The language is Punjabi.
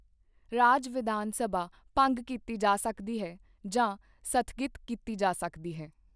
ਰਾਜ ਵਿਧਾਨ ਸਭਾ ਭੰਗ ਕੀਤੀ ਜਾ ਸਕਦੀ ਹੈ ਜਾਂ ਸਥਗਿਤ ਕੀਤੀ ਜਾ ਸਕਦੀ ਹੈ।